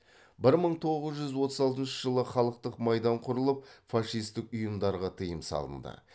бір мың тоғыз жүз отыз алтыншы жылы халықтық майдан құрылып фашистік ұйымдарға тыйым салынды